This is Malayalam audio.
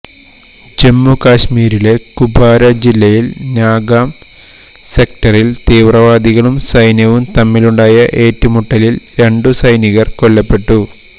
ജമ്മു കശ്മീരിലെ കുപ്വാര ജില്ലയിൽ നൌഗാം സെക്ടറിൽ തീവ്രവാദികളും സൈന്യവും തമ്മിലുണ്ടായ ഏറ്റുമുട്ടലിൽ രണ്ട് സൈനികർ കൊല്ലപ്പെട്ടു